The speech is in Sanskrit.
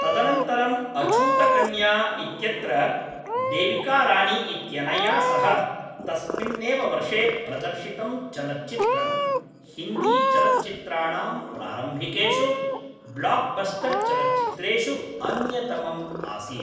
तदनन्तरम् अछूतकन्या इत्यत्र देविकारानी इत्यनया सह तस्मिन्नेव वर्षे प्रदर्शितं चलच्चित्रं, हिन्दीचलच्चित्राणां प्रारम्भिकेषु ब्लोकबस्टर्चलच्चित्रेषु अन्यतमम् आसीत्।